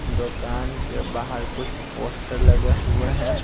दुकान के बाहर कुछ पोस्टर लगे हुए हैं।